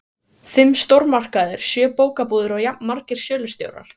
Fimm stórmarkaðir, sjö bókabúðir og jafnmargir sölustjórar.